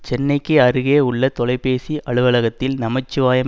சென்னைக்கு அருகே உள்ள தொலைபேசி அலுவலகத்தில் நமச்சிவாயம்